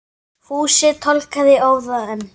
Fúsi tálgaði í óða önn.